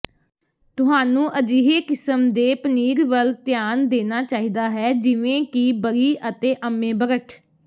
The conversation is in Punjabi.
ਤੁਹਾਨੂੰ ਅਜਿਹੇ ਕਿਸਮ ਦੇ ਪਨੀਰ ਵੱਲ ਧਿਆਨ ਦੇਣਾ ਚਾਹੀਦਾ ਹੈ ਜਿਵੇਂ ਕਿ ਬਰੀ ਅਤੇ ਅੰਮੇਬਰਟ